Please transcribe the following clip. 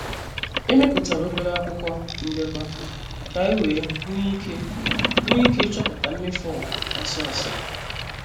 Emeputara obere akwụkwọ ndekọ ka anyị wee nwee ike nwee ike ịchọpụta mmefu ọha ọsọ ọsọ.